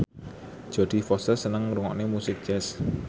Jodie Foster seneng ngrungokne musik jazz